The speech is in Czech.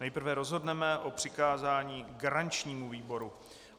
Nejprve rozhodneme o přikázání garančnímu výboru.